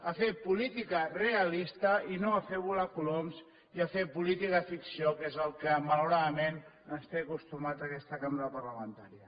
a fer política realista i no a fer volar coloms i a fer política ficció que és al que malauradament ens té acostumats aquesta cambra parlamentària